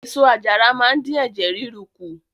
Èso àjàra máa ń dín ẹ̀jẹ̀ ríru kù.